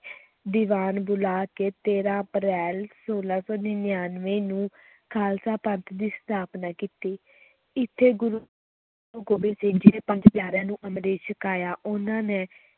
ਦੀਵਾਨ ਬੁਲਾ ਕੇ ਤੇਰਾ ਅਪ੍ਰੈਲ, ਛੋਲਾਂ ਸੌ ਨੜ੍ਹਿਨਵੇਂ ਨੂੰ ਖ਼ਾਲਸਾ ਪੰਥ ਦੀ ਸਥਾਪਨਾ ਕੀਤੀ ਇੱਥੇ ਗੁਰੂ ਗੋਬਿੰਦ ਸਿੰਘ ਜੀ ਨੇ ਪੰਜ ਪਿਆਰਿਆਂ ਨੂੰ ਅੰਮ੍ਰਿਤ ਛਕਾਇਆ, ਉਨ੍ਹਾਂ ਨੇ